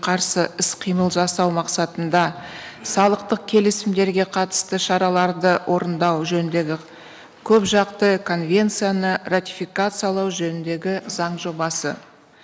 қарсы іс қимыл жасау мақсатында салықтық келісімдерге қатысты шараларды орындау жөніндегі көпжақты конвенцияны ратификациялау жөніндегі заң жобасы